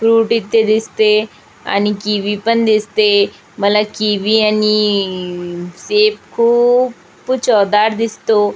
Fruit इथे दिसते आणि किवी पण दिसते मला किवी आणि सेब खूप चवदार दिसतो.